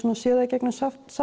séð það í gegnum